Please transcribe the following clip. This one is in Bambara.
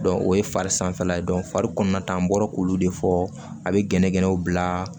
o ye fari sanfɛla ye fari kɔnɔna ta an bɔra k'olu de fɔ a be gɛnɛgɛnɛw bila